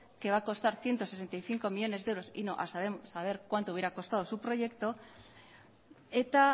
que va a costar ciento sesenta y cinco millónes de euros y no a saber cuánto hubiera costado su proyecto eta